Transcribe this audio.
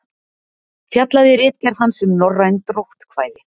Fjallaði ritgerð hans um norræn dróttkvæði.